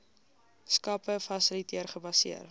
skappe fasiliteer gebaseer